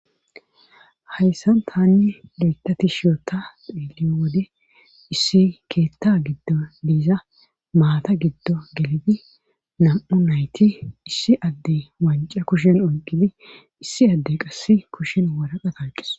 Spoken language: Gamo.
Hayssan taani loyththa tishi oota xeeliyo wode issi keeththa gidon de'iza maata gido gelidi nam'u nayti issi adde woncca kushen oyqqidi issi adde waraqata oyqqis.